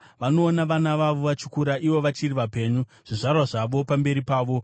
Vanoona vana vavo vachikura ivo vachiri vapenyu, zvizvarwa zvavo pamberi pavo.